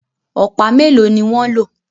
Ọ̀pá melo ní wan ló